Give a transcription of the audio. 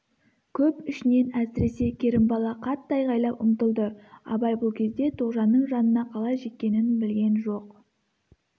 көп ішінен әсіресе керімбала қатты айғайлап ұмтылды абай бұл кезде тоғжанның жанына қалай жеткенін білген жоқ